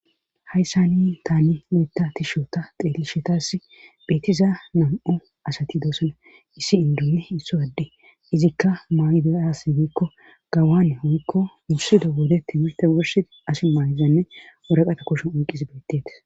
hayssani taani noyta tishota xeelishetass beetiza nam7o asati doosona issi indunne isso gadde izikka maydayasi biikko gawaane hoykko wursido wodetti mirte worsi as maayzanne woraqata kushun onqis beettetis